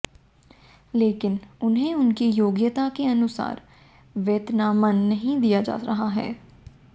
लेकिन उन्हें उनकी योग्यता के अनुसार वेतनमान नहीं दिया जा रहा है